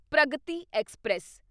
Pragati express